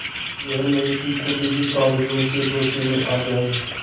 यह नहीं कि खुद ही कागजों के धोखे में आ जाए